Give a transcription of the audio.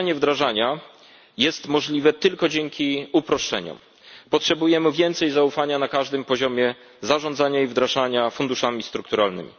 Przyspieszenie wdrażania jest możliwe tylko dzięki uproszczeniom. Potrzebujemy więcej zaufania na każdym poziomie zarządzania i wdrażania funduszy strukturalnych.